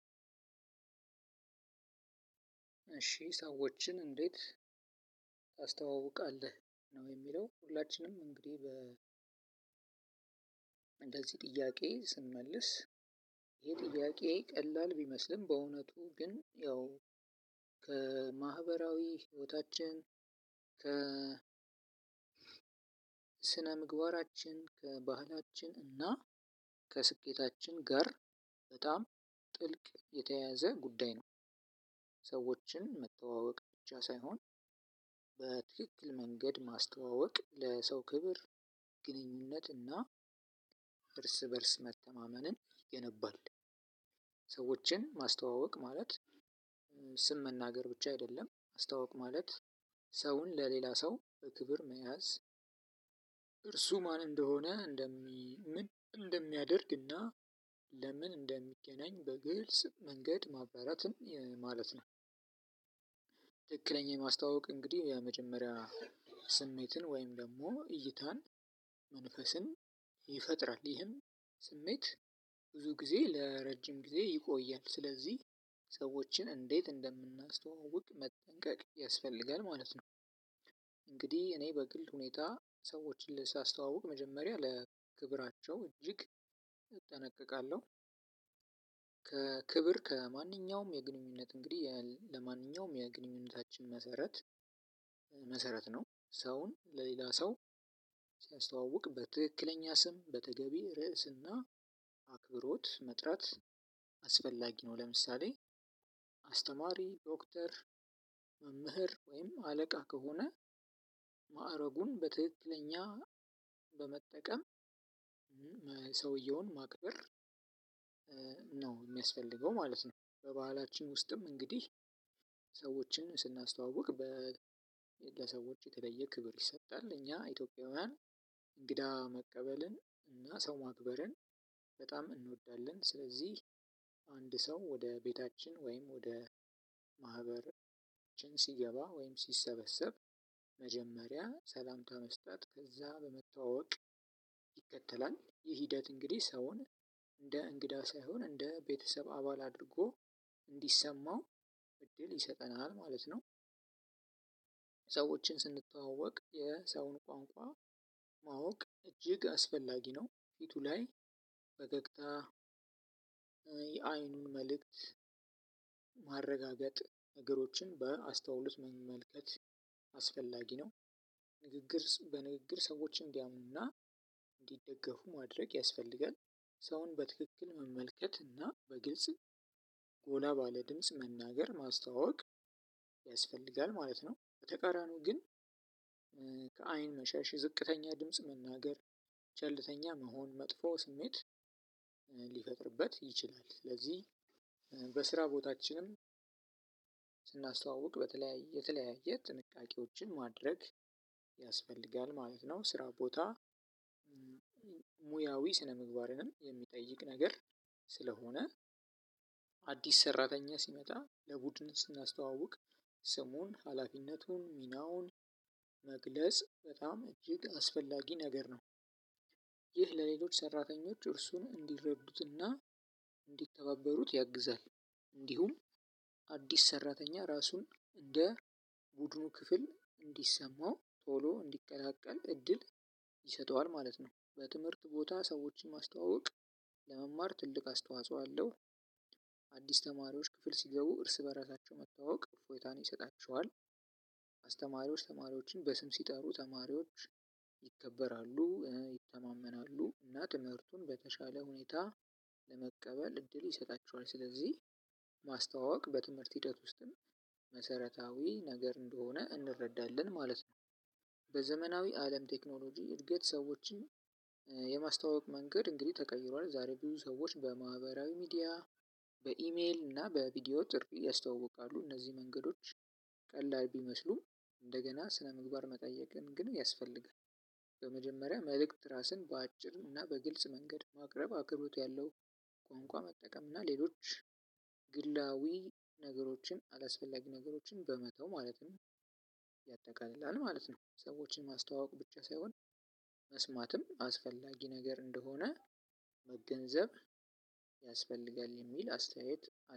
እሺ ሰዎችን እንዴት? ታስተዋውቃለህ ነው የሚለው ሁላችንም እንግዲህ በ እንደዚህ ጥያቄ ስንመልስ የጥያቄ ቀላል ቢመስልም በእውነቱ ግን ያው ከማህበራዊ ህይወታችን ከ ከስነ ምግባራችን ከባህላችን እና ከስሜታችን ጋር በጣም ጥልቅ የተያያዘ ጉዳይ ነው። ሰዎችን መተዋወቅ ብቻ ሳይሆን በትክክል መንገድ ማስተዋወቅ ለሰው ክብር ግንኙነት እና እርስ በእርስ መተማመንን የነባል ሰዎችን ማስተዋወቅ ማለት ስም መናገር ብቻ አይደለም ማስተዋወቅ ማለት ሰውን ለሌላ ሰው በክብር መያዝ እርሱ ማን እንደሆነ ምን እንደሚያደርግና ለምን እንደሚገናኝ በግልጽ መንገድ ማብራራትም ማለት ነው። ትክክለኛ የማስተዋወቅ እንግዲህ የመጀመሪያ ስሜትን ወይም ደግሞ እይታን መንፈስን ይፈጥራል ይህም ስሜት ብዙ ጊዜ ለረጅም ጊዜ ይቆያል ስለዚህ ሰዎችን እንዴት እንደምናስተዋውቅ መጠንቀቅ ያስፈልጋል ማለት ነው። እንግዲህ እኔ በግልጽ ሁኔታ ሰዎችን ሳስተዋውቅ መጀመሪያ ለክብራቸው እጅግ እጠነቀቃለሁ። ከክብር ከማንኛውም የግንኙነት እንግዲህ ለማንኛውም የግንኙነታችን መሰረት መሰረት ነው ሰውን ለሌላ ሰው ሲያስተዋውቅ በትክክለኛ ስም በተገቢ ርዕስና አክብሮት መጥራት አስፈላጊ ነው። ለምሳሌ አስተማሪ ዶክተር መምህር ወይም አለቃ ከሆነ ማዕረጉን በትክክለኛ በመጠቀም ሰውየውን ማክበር ነው የሚያስፈልገው ማለት ነው። በባህላችን ውስጥም እንግዲህ ሰዎችን ስናስተዋውቅ ለሰዎች የተለየ ክብር ይሰጣል እኛ ኢትዮጵያውያን እንግዳ መቀበልን እና ሰው ማክበርን በጣም እንወዳለን ስለዚህ አንድ ሰው ወደ ቤታችን ወይም ወደ ማህበር ሲገባ ወይም ሲሰበሰብ መጀመሪያ ሰላምታ መስጠት ከዛ በመተዋወቅ ይከተላል ይህ ሂደት እንግዲህ ሰውን እንደ እንግዳ ሳይሆን እንደ ቤተሰብ አባል አድርጎ እንዲሰማው እድል ይሰጠናል ማለት ነው። ሰዎችን ስንተዋወቅ የሰውን ቋንቋ ማወቅ እጅግ አስፈላጊ ነው። ፊቱ ላይ ፈገግታ የአይኑን መልእክት ማረጋገጥ ነገሮችን በአስተውሎት መመልከት አስፈላጊ ነው። ንግግር በንግግር ሰዎች እንዲያምኑና እንዲደገፉ ማድረግ ያስፈልጋል ሰውን በትክክል መመልከት እና በግልጽ ጎላ ባለ ድምጽ መናገር ማስታወቅ ያስፈልጋል ማለት ነው። በተቃራኒው ግን ከአይን መሸሽ ዝቅተኛ ድምጽ መናገር ቸልተኛ መሆን መጥፎ ስሜት ሊፈጥርበት ይችላል። ስለዚህ በስራ ቦታችንም ስናስተዋውቅ በተለያየ የተለያየ ጥንቃቄዎችን ማድረግ ያስፈልጋል ማለት ነው። ስራ ቦታ ሙያዊ ስነምግባርንም የሚጠይቅ ነገር ስለሆነ አዲስ ሰራተኛ ሲመጣ ለቡድን ስናስተዋውቅ ስሙን ሀላፊነቱን ሚናውን መግለጽ በጣም እጅግ አስፈላጊ ነገር ነው። ይህ ለሌሎች ሰራተኞች እርሱን እንዲረዱትና እንዲተባበሩት ያግዛል እንዲሁም አዲስ ሰራተኛ ራሱን እንድቡድኑ ክፍል እንዲሰማው ቶሎ እንዲቀላቀል እድል ይሰጠዋል ማለት ነው። በትምህርት ቦታ ሰዎችን ማስተዋወቅ ለመማር ትልቅ አስተውጾ አለው። አዲስ ተማሪዎች ክፍል ሲገቡ እርስ በራሳቸው መተዋወቅ እፎይታን ይሰጣቸዋል። አስተማሪዎች ተማሪዎችን በስም ሲጠሩ ተማሪዎች ይከበራሉ ይተማመናሉ እና ትምህርቱም በተሻለ ሁኔታ የመቀበል እድል ይሰጣቸዋል። ስለዚህም ማስተዋወቅ በትምህርት ሂደት ውስጥም መሰረታዊ ነገር እንደሆነ እንረዳለን። በዘመናዊ አለም ቴክኖሎጂ እድገት ሰዎችን የማስተዋወቅ መንገድ እንግዲህ ተቀይሯል። ዛሬ ብዙ ሰዎች በማህበራዊ ሚዲያ በኢሜል እና በቪዲዮ ጨምሮ ያስተዋውቃሉ እንዚህ መንገዶች ቀላል ቢመስሉም እንደገና ስነምግባር መጠየቅ ግን ያስፈልጋል። በመጀመሪያ መልእክት ራስን በአጭር እና በግልጽ መንገድ ማቅረብ አክብሮት ያለው ቋንቋ መጠቀም እና ሌሎች ግላዊ ነገሮችን አላስፈላጊ ነገሮችን በመተው ማለትም ያጠቃልላል ማለት ነው። ሰዎችን ማስተዋወቅ ብቻ ሳይሆን መስማትም አስፈላጊ ነገር እንደሆነ መገንዘብ ያስፈልጋል የሚል አስተያየት